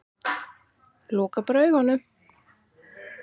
Loka bara augunum.